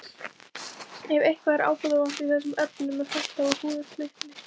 Ef eitthvað er ábótavant í þessum efnum er hætta á að húðin slitni.